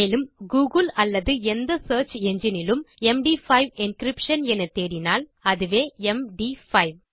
மேலும் கூகிள் அல்லது எந்த சியர்ச் என்ஜின் இலும் எம்டி5 என்கிரிப்ஷன் என தேடினால் அதுவே ம் ட் 5